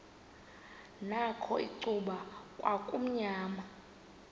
nakho icuba kwakumnyama